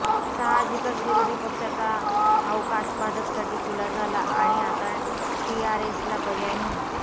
साहजिकच विरोधी पक्षाचा अवकाश भाजपसाठी खुला झाला आणि आता टीआरएसला पर्याय म्हणून